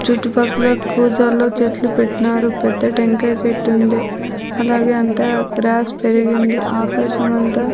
చుట్టుపక్కల కూజాలో చెట్లు పెట్నారు పెద్ద టెంకాయ చెట్టుంది అలాగే అంతా గ్రాస్ పెరిగింది ఆకాశమంత--